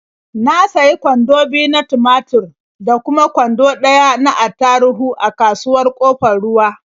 Na sayi kwando biyu na tumatur da kuma kwando ɗaya na attaruhu a kasuwar Ƙofar Ruwa.